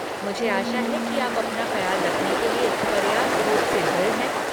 मुझे आशा है कि आप अपना ख्याल रखने के लिए पर्याप्त रूप से दृढ़ हैं।